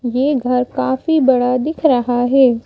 ये घर काफी बड़ा दिख रहा है।